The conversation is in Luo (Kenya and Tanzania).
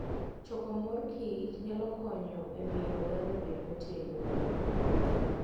Choko mor kich nyalo konyo e miyo oganda obed motegno.